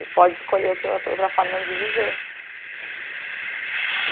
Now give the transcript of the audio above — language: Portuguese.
E pode escolher outra outra outra forma de viver.